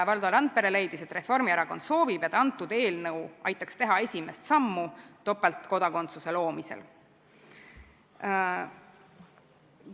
Valdo Randpere leidis, et Reformierakond soovib, et antud eelnõu aitaks teha esimest sammu topeltkodakondsuse loomisel.